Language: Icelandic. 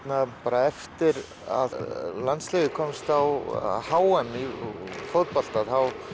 eftir að landsliðið komst á h m í fótbolta